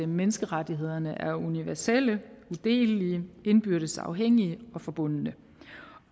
menneskerettighederne er universelle udelelige indbyrdes afhængige og forbundne